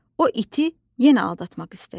O iti yenə aldatmaq istədi.